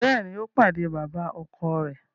Béèni, o pàdé baba-ọkọ rẹ